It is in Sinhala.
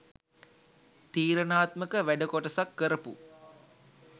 තීරණාත්මක වැඩ කොටසක් කරපු